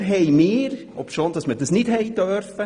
Wir sagten dann, obschon man das nicht durfte: